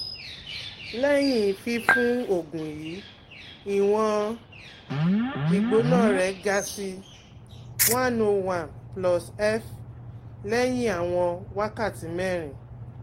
Lẹhin fifun oogun yii, iwọn igbona re ga si one hundred one +F lẹhin awọn wakati merin